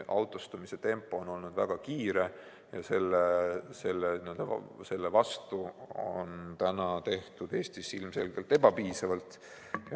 Autostumise tempo on olnud väga kiire ja selle vastu pole täna tehtud Eestis ilmselgelt piisavalt.